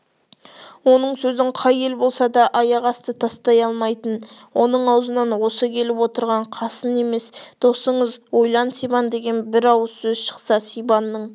оның сөзін қай ел болса да аяқасты тастай алмайтын оның аузынан осы келіп отырған қасын емес досыңыз ойлан сибан деген бір ауыз сөз шықса сибанның